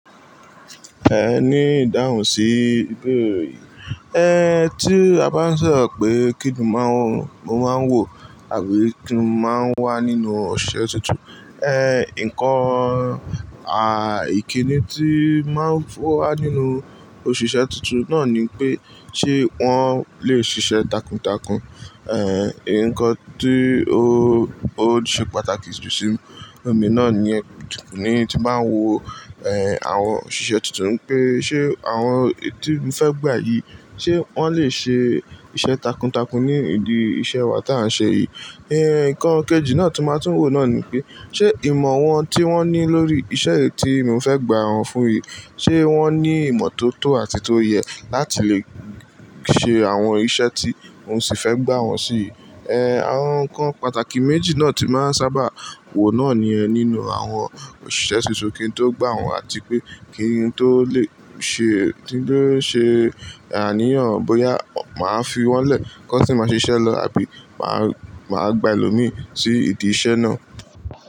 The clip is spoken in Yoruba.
Ẹ ní ìdáhùn sí ìbéèrè yìí. Ẹ, tí a bá ń sọ̀rọ̀ pé kí ni máa ń wò àbí kíni máa ń wà nínú òṣìṣẹ́ tuntun, ẹ̀, nǹkan, à, ìkíni tí máa ń fún wa nínú òṣìṣẹ́ tuntun náà ni pé ṣé wọ́n lè ṣiṣẹ́ takuntakun. Ẹ, nǹkan tí ó, ó ṣe pàtàkì jù sí mi náà ni ẹni tí máa ń wo, ẹ̀, àwọn òṣìṣẹ́ tuntun pé ṣé àwọn èyí tí mo fẹ́ gbà yìí, ṣé wọ́n lè ṣe iṣẹ́ takuntakun ní ìdí iṣẹ́ wa tí à ń ṣe yìí. Ẹ, nǹkan kejì náà tí máa ń tún wò náà ni pé ṣé ìmọ̀ wọn tí wọ́n ní lórí iṣẹ́ yìí tí mo fẹ́ gbà wọ́n fún yìí, ṣé wọ́n ní ìmọ̀ tó tọ́ àti tó yẹ láti lè ṣe àwọn iṣẹ́ tí n ò sì fẹ́ gbà wọ́n sí. Ẹ, àwọn nǹkan pàtàkì méjì náà tí máa ń sábà wò náà ni ẹ nínú àwọn òṣìṣẹ́ tuntun kí n tó gbà wọ́n àti pé kí n tó lè ṣe, kí n tó lè ṣe àníyàn bóyá màá fi wọ́n lẹ̀ kí wọ́n sì máa ṣe iṣẹ́ lọ àbí màá, màá gba ẹlòmírìí sí ìdí iṣẹ́ náà.